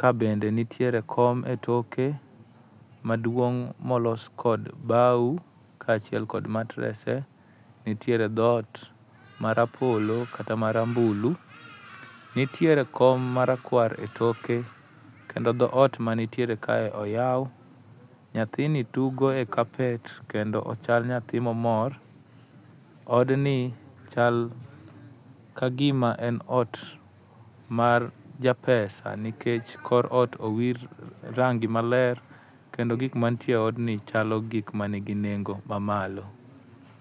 ka bende nitiee kom e toke maduong' molos kod bao kaachiel kod matrese, nitiere dhoot marapolo kata marambulu. Nitiere kom marakwar etoke kendo dhoot dhoot manitiere kae oyaw, nyathini tugo e kapet kendo ochal nyathi mamor. Odni chal kagima en ot mar japesa nikech kor ot owir rangi maler kendo gik mantiere e odni chalo gik man gi nengo maalo.